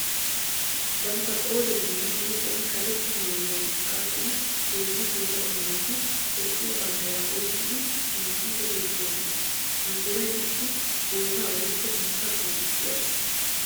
Bantta qooriyaninne huuphiyan karetta maayuwaa xaaxid hezzu geela'o naati Toophphiya banddiraa oyqqiddi miicciiddi beetoosona. Banddiray issi bootta woykko biittaa qonccissiyagaa.